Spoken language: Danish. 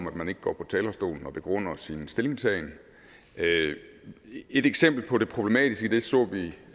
at man ikke går på talerstolen og begrunder sin stillingtagen et eksempel på det problematiske i det så vi